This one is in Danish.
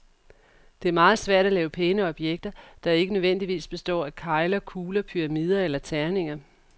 Det er meget svært at lave pæne objekter, der ikke nødvendigvis består af kegler, kugler, pyramider eller terninger.